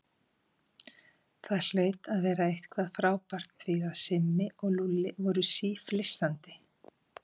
Það hlaut að vera eitthvað frábært því að Simmi og Lúlli voru síflissandi.